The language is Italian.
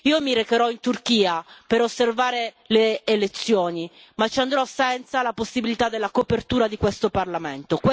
Io mi recherò in Turchia per osservare le elezioni, ma ci andrò senza la possibilità della copertura di questo Parlamento.